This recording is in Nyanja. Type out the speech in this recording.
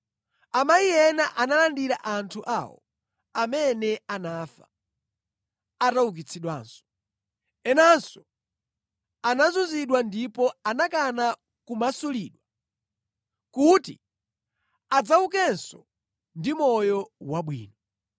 Amayi ena analandira anthu awo amene anafa, ataukitsidwanso. Enanso anazunzidwa ndipo anakana kumasulidwa, kuti adzaukenso ndi moyo wabwino.